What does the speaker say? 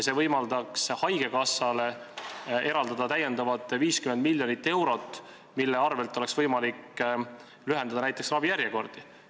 See võimaldaks haigekassale täiendavalt eraldada 50 miljonit eurot, mille arvel oleks võimalik lühendada näiteks ravijärjekordi.